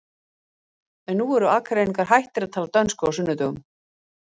En nú eru Akureyringar hættir að tala dönsku á sunnudögum.